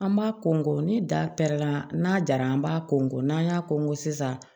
An b'a kɔn ni da pɛrɛnna n'a jara an b'a ko nko n'an y'a kɔn ko sisan